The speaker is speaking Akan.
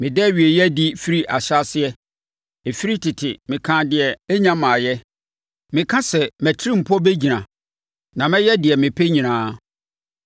Meda awieeɛ adi firi ahyɛaseɛ, ɛfiri tete, meka deɛ ɛrennya mmaeɛ. Meka sɛ: Mʼatirimpɔ bɛgyina, na mɛyɛ deɛ mepɛ nyinaa.